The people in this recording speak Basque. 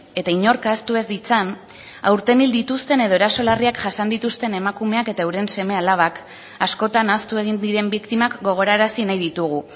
eta inork ahaztu ez ditzan aurten hil dituzten edo eraso larriak jasan dituzten emakumeak eta euren seme alabak askotan ahaztu egin diren biktimak gogorarazi nahi ditugu